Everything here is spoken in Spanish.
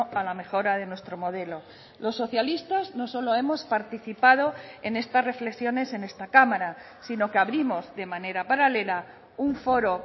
a la mejora de nuestro modelo los socialistas no solo hemos participado en estas reflexiones en esta cámara sino que abrimos de manera paralela un foro